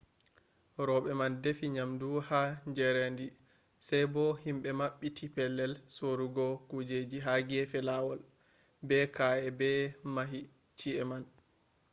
roɓe man defi nyamdu ha jarendi sai bo himɓe maɓɓiti pellel sorugo kujeji ha gefe lawol. be ka’eh ɓe mahi chi’e man